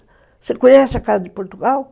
Você conhece a Casa de Portugal?